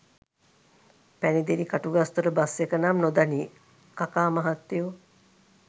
පැණිදෙනි Katugastota bus එක නම් නොදනී කකා මහත්තයෝ